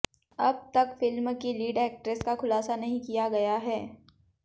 अब तक फिल्म की लीड एक्ट्रेस का खुलासा नहीं किया गया है